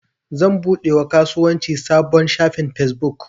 Zan buɗe wa kasuwanci sabon shafin fesbuk.